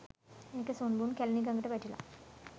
ඒකෙ සුන්බුන් කැලණි ගඟට වැටිලා .